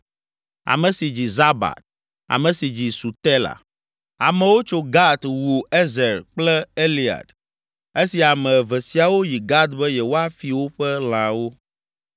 ame si dzi Zabad ame si dzi Sutela. Amewo tso Gat wu Ezer kple Elead esi ame eve siawo yi Gat be yewoafi woƒe lãwo.